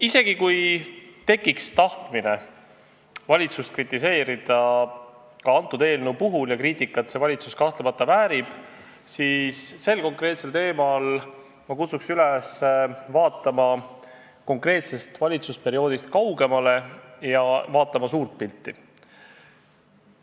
Isegi kui tekiks tahtmine valitsust ka selle eelnõu puhul kritiseerida – ja kriitikat see valitsus kahtlemata väärib –, siis sel konkreetsel teemal ma kutsun üles vaatama konkreetsest valitsusperioodist kaugemale, et näha suurt pilti.